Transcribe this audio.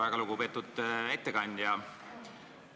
Väga lugupeetud ettekandja!